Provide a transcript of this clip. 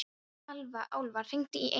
Álfar, hringdu í Eymund.